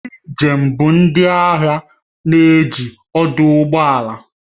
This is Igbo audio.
Ndị njem bụ ndị ahịa na-eji ọdụ ụgbọ ala